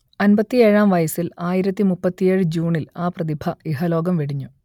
അൻപത്തിയേഴാം വയസ്സിൽ ആയിരത്തി മുപ്പത്തിയേഴ് ജൂണിൽ ആ പ്രതിഭ ഇഹലോകം വെടിഞ്ഞു